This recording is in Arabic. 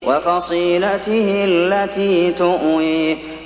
وَفَصِيلَتِهِ الَّتِي تُؤْوِيهِ